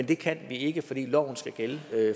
det kan vi ikke fordi loven skal gælde